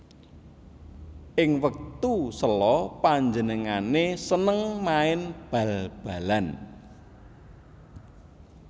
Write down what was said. Ing wektu sela panjenengané seneng main bal balan